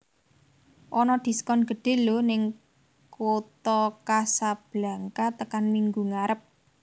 Ono diskon gedhe lho ning Kota Kasblanka tekan minggu ngarep